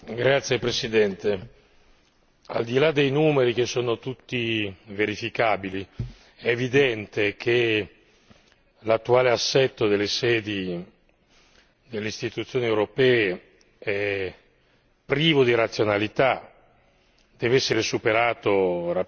Signor Presidente, al di là dei numeri tutti verificabili è evidente che l'attuale assetto delle sedi delle Istituzioni europee è privo di razionalità e deve essere superato